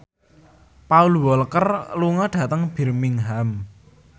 Paul Walker lunga dhateng Birmingham